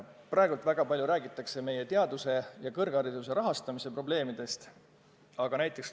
Praegu räägitakse väga palju meie teaduse ja kõrghariduse rahastamise probleemidest.